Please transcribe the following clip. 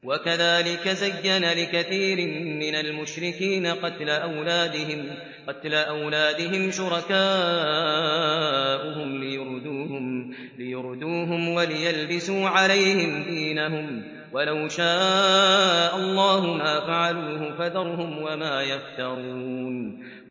وَكَذَٰلِكَ زَيَّنَ لِكَثِيرٍ مِّنَ الْمُشْرِكِينَ قَتْلَ أَوْلَادِهِمْ شُرَكَاؤُهُمْ لِيُرْدُوهُمْ وَلِيَلْبِسُوا عَلَيْهِمْ دِينَهُمْ ۖ وَلَوْ شَاءَ اللَّهُ مَا فَعَلُوهُ ۖ فَذَرْهُمْ وَمَا يَفْتَرُونَ